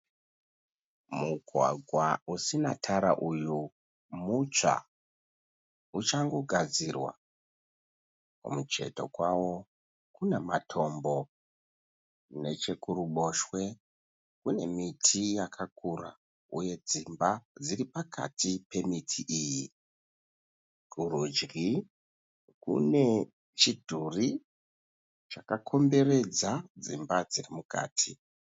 Mugwagwa usina tara uyu mutsva. Uchangogadzirwa. Kumucheto kwavo kuna matombo. Nechekuruboshwe kune miti yakakura uye dzimba dziri pakati pemiti iyi. Kurudyi kune chidhori chakakomberedza dzimba dziri mukati.